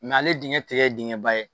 ale diŋɛ te kɛ diŋɛba ye.